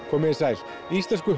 komið þið sæl íslensku